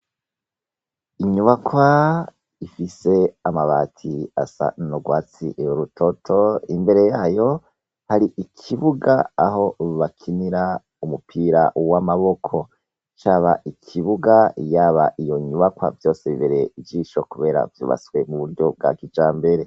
Inyubakwa ifise amabati asa norwatsi io rutoto imbere yayo hari ikibuga aho bakinira umupira uwo amaboko caba ikibuga yaba iyo nyubakwa vyose bibere ijisho, kubera vyubaswe mu buryo bwa kija mbere.